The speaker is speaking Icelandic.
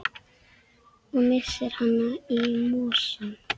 Og missir hana í mosann.